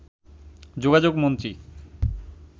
যোগাযোগ মন্ত্রী